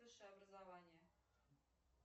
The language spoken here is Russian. высшее образование